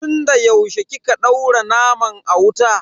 Tun da yaushe kika daura naman a wuta?